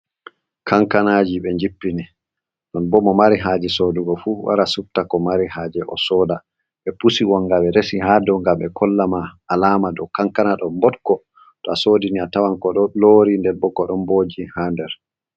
Kankana ji be njippini, ɗon bo mo mari haje sodugo fu, wara subta ko mari haje o soda ɓe pusi wonga ɓe resi ha dou ngam ɓe kollama alama ɗo kankana ɗon mbotko, to a sodini a tawan ko ɗo lori nder bo ko, ɗon mboji ha nder.